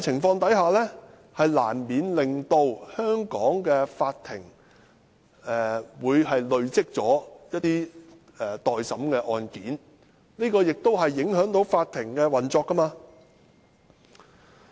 這難免令香港的法庭累積很多待審的案件，影響法庭運作。